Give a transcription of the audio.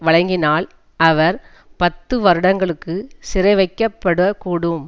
வழங்கினால் அவர் பத்து வருடங்களுக்கு சிறைவைக்கப்படக் கூடும்